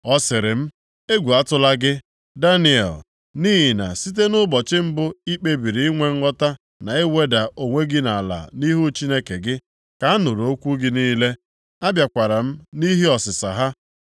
Ọ sịrị m, “Egwu atụla gị, Daniel. Nʼihi na site nʼụbọchị mbụ i kpebiri inwe nghọta na iweda onwe gị ala nʼihu Chineke gị, ka a nụrụ okwu gị niile, a bịakwara m nʼihi ọsịsa ha.